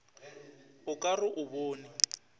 o ka re o bone